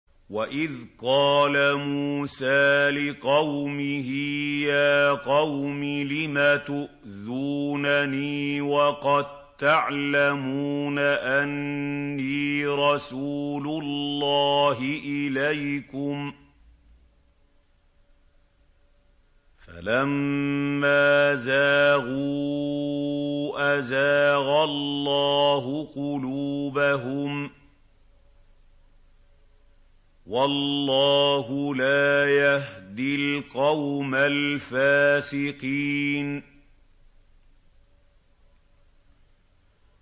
وَإِذْ قَالَ مُوسَىٰ لِقَوْمِهِ يَا قَوْمِ لِمَ تُؤْذُونَنِي وَقَد تَّعْلَمُونَ أَنِّي رَسُولُ اللَّهِ إِلَيْكُمْ ۖ فَلَمَّا زَاغُوا أَزَاغَ اللَّهُ قُلُوبَهُمْ ۚ وَاللَّهُ لَا يَهْدِي الْقَوْمَ الْفَاسِقِينَ